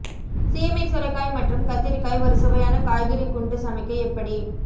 சீமை சுரைக்காய் மற்றும் கத்திரிக்காய் ஒரு சுவையான காய்கறி குண்டு சமைக்க எப்படி